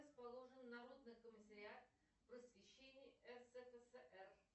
расположен народный комиссариат просвещения рсфср